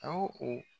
A o